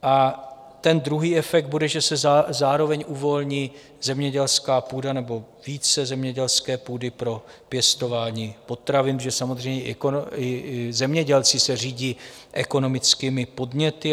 A ten druhý efekt bude, že se zároveň uvolní zemědělská půda nebo více zemědělské půdy pro pěstování potravin, protože samozřejmě i zemědělci se řídí ekonomickými podněty.